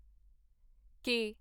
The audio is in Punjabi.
ਕੇ